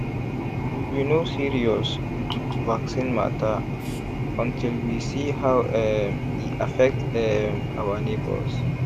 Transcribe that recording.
we be no serious with vaccine matter until we see how um e affect um our neighbors.